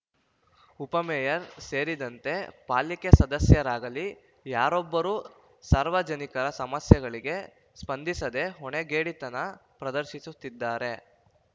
ಉಪಮೇಯರ್‌ ಸೇರಿದಂತೆ ಪಾಲಿಕೆ ಸದಸ್ಯರಾಗಲೀ ಯಾರೊಬ್ಬರೂ ಸಾರ್ವಜನಿಕರ ಸಮಸ್ಯೆಗಳಿಗೆ ಸ್ಪಂದಿಸದೇ ಹೊಣೆಗೇಡಿತನ ಪ್ರದರ್ಶಿಸುತ್ತಿದ್ದಾರೆ